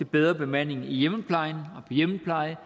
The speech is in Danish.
bedre bemanding i hjemmeplejen